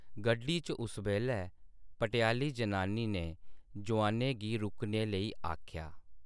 गड्डी च उस बेल्लै भटेआली जनानी ने जोआनें गी रुकने लेई आखेआ।